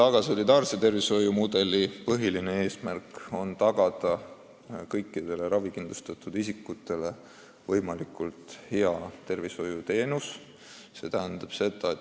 Solidaarse tervishoiu põhiline eesmärk on tagada kõikidele ravikindlustatud isikutele võimalikult hea arstiabi.